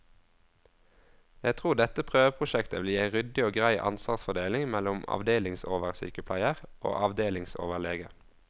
Jeg tror dette prøveprosjektet vil gi en ryddig og grei ansvarsfordeling mellom avdelingsoversykepleier og avdelingsoverlege.